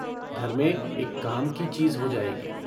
घर में एक काम की चीज हो जायगी।